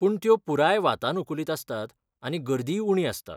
पूण त्यो पुराय वातानुकूलित आसतात आनी गर्दीय उणी आसता.